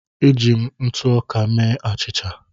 Eji m ntụ ọka mee achịcha.